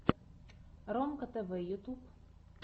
ромка тэвэ ютуб